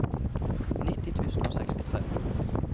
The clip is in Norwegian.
nitti tusen og sekstitre